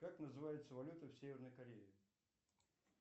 как называется валюта в северной корее